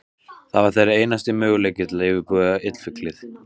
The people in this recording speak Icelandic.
Það var þeirra einasti möguleiki til að yfirbuga illfyglið.